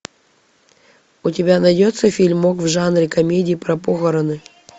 у тебя найдется фильмок в жанре комедии про похороны